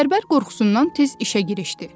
Bərbər qorxusundan tez işə girişdi.